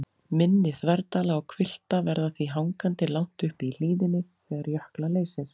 Mynni þverdala og hvilfta verða því hangandi langt uppi í hlíðinni þegar jökla leysir.